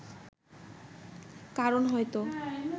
কারণ হয়তো